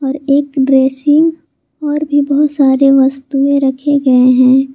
और एक ड्रेसिंग और भी बहुत सारी वस्तुएं रखे गए हैं।